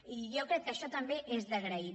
i jo crec que això també és d’agrair